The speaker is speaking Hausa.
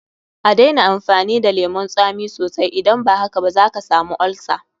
A daina amfani da lemun tsami sosai, idan ba haka zaka samu olsa.